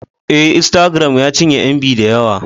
Ee, Instagram ya cinye MB da yawa